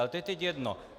Ale to je teď jedno.